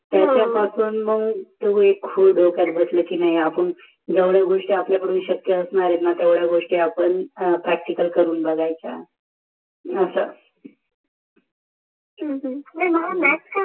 तेव्हा पासून मंग ते खूळ डोक्यात बसाल कि नाही आपण जेव्द्या गोष्टी आपल्याकडून श्यक होत नाही ना असणा तेवड्या गोष्टी आपण करून बघायच्या ह्म्म ह्म्म नाहि मला मॅॅॅॅथ्स